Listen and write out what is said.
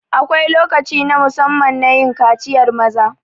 Akwai lokaci na musamman nayin kaciyar maza